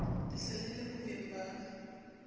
le sele le bohweng ba